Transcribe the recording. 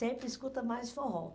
Sempre escuta mais forró.